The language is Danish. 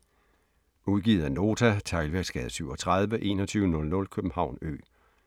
Udgivet af Nota Teglværksgade 37 2100 København Ø